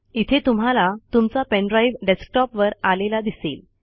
इथे तुम्हाला तुमचा पेन ड्राईव्ह डेस्कटॉपवर आलेला दिसेल